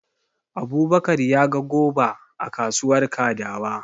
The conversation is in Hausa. Abubakar ya ga goba a kasuwar Kadawa.